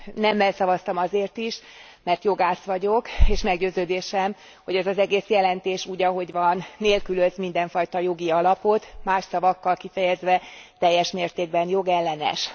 Nemmel szavaztam azért is, mert jogász vagyok, és meggyőződésem, hogy ez az egész jelentés úgy, ahogy van nélkülöz mindenfajta jogi alapot, más szavakkal kifejezve teljes mértékben jogellenes.